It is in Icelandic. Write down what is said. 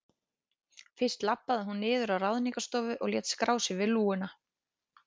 Fyrst labbaði hún niður á Ráðningarstofu og lét skrá sig við lúguna.